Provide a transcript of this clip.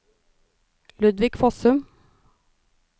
Ludvig Fossum